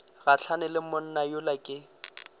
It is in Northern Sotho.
gahlane le monna yola ke